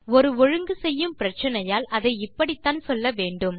ஒரு ஒழுங்கு செய்யும் பிரச்சினையால் அதை இப்படித்தான் சொல்ல முடியும்